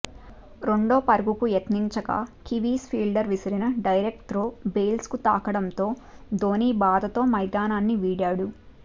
రెండో పరుగుకు యత్నించగా కివీస్ ఫీల్డర్ విసిరిన డైరెక్ట్ త్రో బెయిల్స్కు తాకడంతో ధోనీ బాధతో మైదానాన్ని వీడాడు